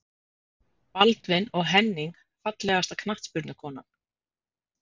Baldvin og Henning Fallegasta knattspyrnukonan?